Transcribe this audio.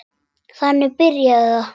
Þannig byrjaði það.